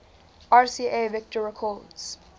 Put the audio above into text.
rca victor records